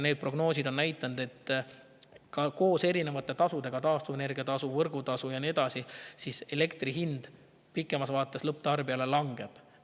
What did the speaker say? Prognoosid on näidanud, et ka koos erinevate tasudega – taastuvenergia tasu, võrgutasu ja nii edasi – elektri hind pikemas vaates lõpptarbijale langeb.